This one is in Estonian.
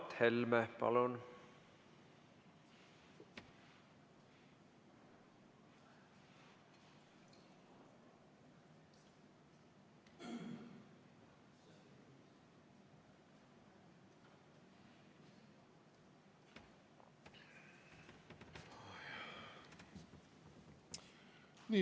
Mart Helme, palun!